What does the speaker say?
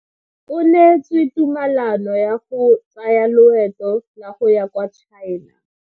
O neetswe tumalano ya go tsaya loeto la go ya kwa China.